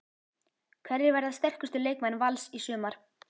Hverjir verða sterkustu leikmenn Vals í sumar?